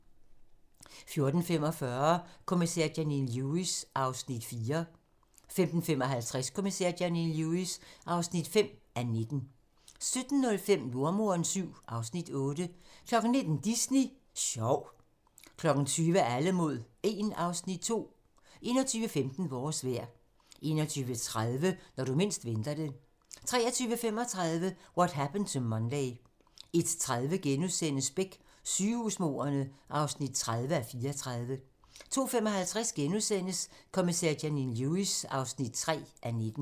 14:45: Kommissær Janine Lewis (4:19) 15:55: Kommissær Janine Lewis (5:19) 17:05: Jordemoderen VII (Afs. 8) 19:00: Disney Sjov 20:00: Alle mod 1 (Afs. 2) 21:15: Vores vejr 21:30: Når du mindst venter det 23:35: What Happened to Monday 01:30: Beck: Sygehusmordene (30:34)* 02:55: Kommissær Janine Lewis (3:19)*